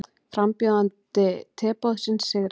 Frambjóðandi Teboðsins sigraði